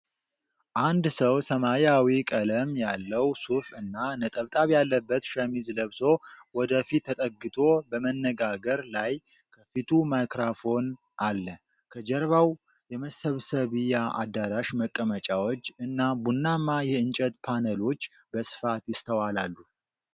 አንድ ሰው ሰማያዊ ቀለም ያለው ሱፍ እና ነጠብጣብ ያለበት ሸሚዝ ለብሶ ወደ ፊት ተጠግቶ በመነጋገር ላይ፤ ከፊቱ ማይክሮፎን አለ። ከጀርባው የመሰብሰቢያ አዳራሽ መቀመጫዎች እና ቡናማ የእንጨት ፓነሎች በስፋት ይስተዋላሉ።